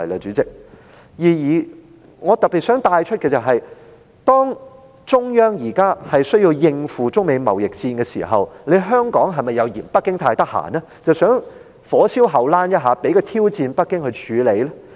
主席，我想特別帶出一點，中央現時需要應付中美貿易戰，香港是否又認為北京太空閒，所以想"火燒後欄"，讓北京有多一個挑戰要處理呢？